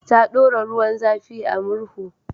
Ta ɗora ruwan zafi a murhu.